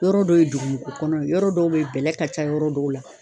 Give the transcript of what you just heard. Yɔrɔ dɔ ye dugumɔgɔ kɔnɔ ye , yɔrɔ dɔw bɛ yen, bɛlɛ ka ca yɔrɔ dɔw la.